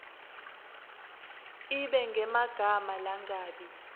ibe ngemagama langabi